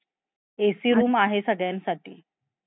AC rooms आहे सगळ्यांसाठी.